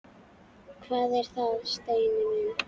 Hvað er það, Steini minn?